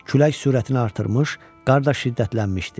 Külək sürətini artırmış, qar şiddətlənmişdi.